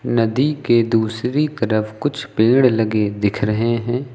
नदी के दूसरी तरफ कुछ पेड़ लगे दिख रहे हैं।